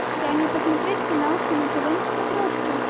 дай мне посмотреть канал кино тв на смотрешке